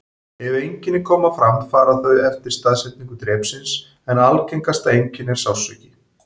Ef einkenni koma fram fara þau eftir staðsetningu drepsins, en algengasta einkenni er sársauki.